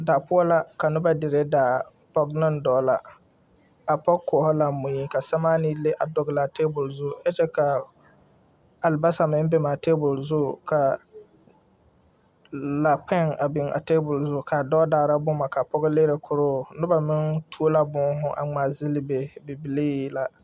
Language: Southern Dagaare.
Daa poɔ la ka noba dire daa dɔɔ ne pɔger la, a pɔge koɔro la mui ka sɛremaanii leŋ pare a tabul zu ka alabaasa meŋ leŋ beŋ a tabul zu ka laa kpɛŋ beŋ a tabul zu ka dɔɔ daara boma ka pɔge lene koroo noba meŋ tuo la boohu a ŋmaa gyili be, bibilee la.